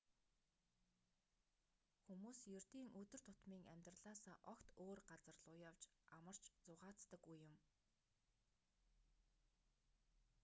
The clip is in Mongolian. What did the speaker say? хүмүүс ердийн өдөр тутмын амьдралаасаа огт өөр газар луу явж амарч зугаацдаг үе юм